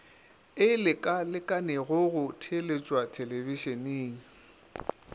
e lekalekanego go theeletšwa thelebišeneng